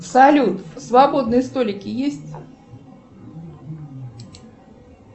салют свободные столики есть